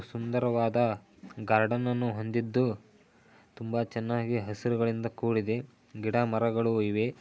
ಸುಂದರವಾದ ಗಾರ್ಡನ್ ಅನ್ನು ಹೊಂದಿದು ತುಂಬಾ ಚನಾಗಿ ಹಸಿರುಗಳಿಂದ ಕೂಡಿದೆ ಗಿಡ ಮರಗಳು ಇವೆ.